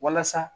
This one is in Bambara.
Walasa